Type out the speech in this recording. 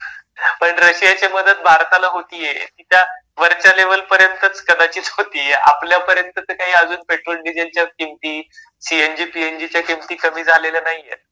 पण रशियाची मदत भारताला होतीये ती त्या वरच्या लेव्हल पर्यंतच कदाचित होतीये. आपल्या पर्यंत तर काही अजून पेट्रोल डिझेलच्या किमती, सीएनजी, पीएनजीच्या किमती कमी झालेल्या नाहीयेत.